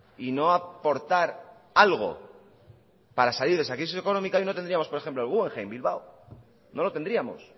y no aportar algo para salir de esa crisis económicas hoy no tendríamos por ejemplo el guggenheim bilbao no lo tendríamos